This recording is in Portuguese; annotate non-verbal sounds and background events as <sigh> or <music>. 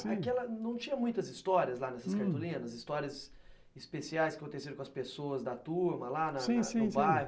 <unintelligible> Não tinha muitas histórias lá nessas cartolinas, histórias especiais que aconteceram com as pessoas da turma lá no bairro, sim, sim, sim.